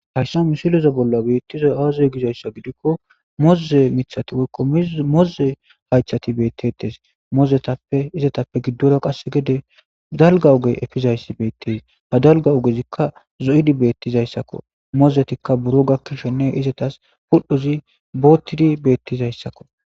Haysan misiloza bolla beettiza aazoy gizayssa gidikko moze mithati woykko moze haychati beettetes mozetappe izatappe giddora qasse gede dalgawugey efizayssi beetteys ha dalgawugezikka zoyidi beettizayssakko mozetikka buro gakkishenne izatas pudhdhozi boottidi beettizayssakko.